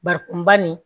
Barikon ba nin